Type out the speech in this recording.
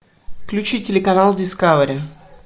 включи телеканал дискавери